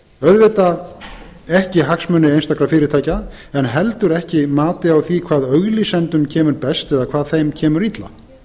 auðvitað ekki hagsmuni einstakra fyrirtækja en heldur ekki mati á því hvað auglýsendum kemur best eða hvað þeim kemur illa